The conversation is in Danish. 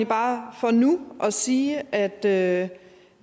bare for nu at sige at at